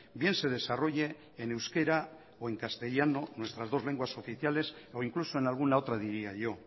bien se desarrolle en euskera o en castellano nuestras dos lenguas oficiales o incluso en alguna otra diría yo